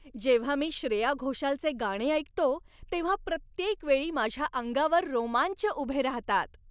जेव्हा मी श्रेया घोषालचे गाणे ऐकतो, तेव्हा प्रत्येक वेळी माझ्या अंगावर रोमांच उभे राहतात.